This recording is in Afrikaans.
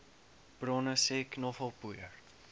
bronne sê knoffelpoeier